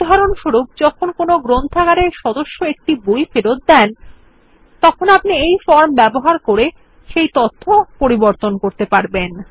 উদাহরণস্বরূপ যখন কোনো গ্রন্থাগারের সদস্য একটি বই ফেরৎ দেন তখন আপনি এই ফর্ম ব্যবহার করে ডাটাবেস এ সেই তথ্য আপডেট করতে পারেন